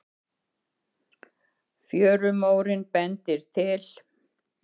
Fjörumórinn bendir til